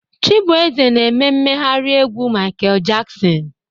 Chibueze na-eme mmegharị egwu Michael Jackson